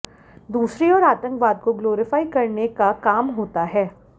दूसरी ओर आतंकवाद को ग्लोरीफाई करने का काम होता है